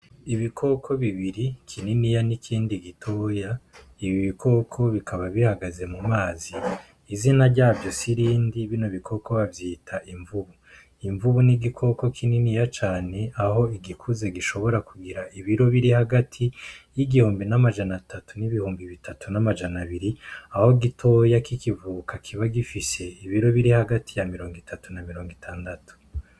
Ibikoko bibiri kininiya n'ikindi gitoya ibi i ibikoko bikaba bihagaze mu mazi izina ryavyo sirindi bino bikoko bavyita imvubu imvubu n'igikoko kininiya cane aho igikuze gishobora kugira ibiro biri hagati y'igihumbi n'amajana atatu n'ibihumbi bitatu n'amajana abiri aho gitoya k'ikivuka kiba gifise ibiro biri hagati ya mirongo itatu na mirongo itandatu.